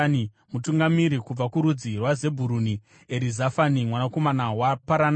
Mutungamiri kubva kurudzi rwaZebhuruni, Erizafani mwanakomana waParanaki;